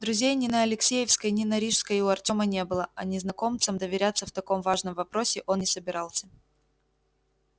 друзей ни на алексеевской ни на рижской у артема не было а незнакомцам доверяться в таком важном вопросе он не собирался